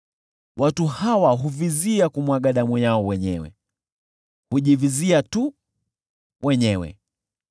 Watu hawa huvizia kumwaga damu yao wenyewe; hujivizia tu wenyewe!